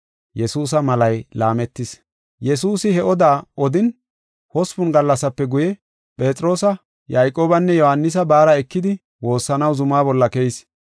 Yesuusi he oda odin, hospun gallasape guye, Phexroosa, Yayqoobanne Yohaanisa baara ekidi woossanaw zuma bolla keyis.